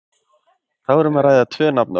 þá er um að ræða tvö nafnorð